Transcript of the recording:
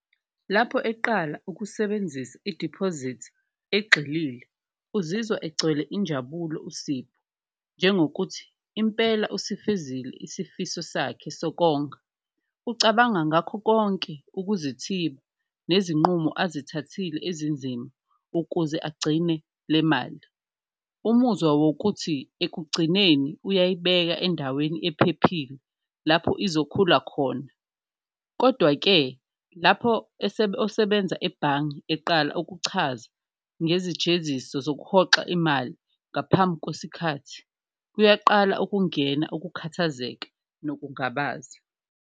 Lapho eqala ukusebenzisa idiphozithi egxilile uzizwa egcwele injabulo uSipho njengokuthi impela usifezile isifiso sakhe sokonga, ucabanga ngakho konke ukuzithiba nezinqubo azithathile ezinzima ukuze agcine le mali. Umuzwa wokuthi ekugcineni uyayibeka endaweni ephephile lapho izokhula khona kodwa-ke, lapho osebenza ebhange eqala ukuchaza ngezijeziso zokuhoxa imali ngaphambi kwesikhathi kuyaqala ukungena ukukhathazeka nokungabaza.